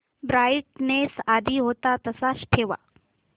brightness आधी होता तसाच ठेव